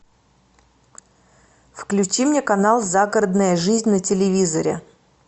включи мне канал загородная жизнь на телевизоре